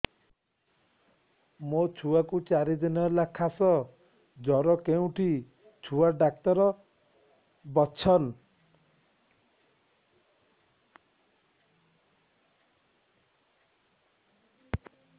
ମୋ ଛୁଆ କୁ ଚାରି ଦିନ ହେଲା ଖାସ ଜର କେଉଁଠି ଛୁଆ ଡାକ୍ତର ଵସ୍ଛନ୍